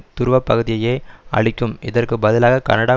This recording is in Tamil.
துருவ பகுதியையே அளிக்கும் இதற்கு பதிலாக கனடா